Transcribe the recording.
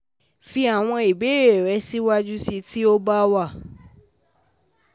Fi àwọn ìbéèrè rẹ síwájú sí i, tí ó bá wà